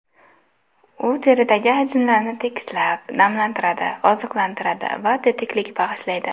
U teridagi ajinlarni tekislab, namlantiradi, oziqlantiradi va tetiklik bag‘ishlaydi.